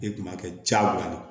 E kun b'a kɛ diyagoya de